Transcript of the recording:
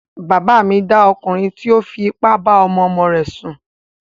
Bàbá mi dá ọkùnrin tí ó fi ipá bá ọmọ ọmọ rẹ̀ sùn